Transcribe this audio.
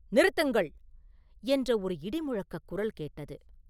நிறுத்துங்கள்!” என்ற ஒரு இடி முழக்கக் குரல் கேட்டது.